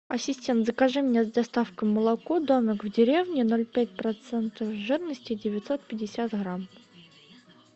ассистент закажи мне с доставкой молоко домик в деревне ноль пять процентов жирности девятьсот пятьдесят грамм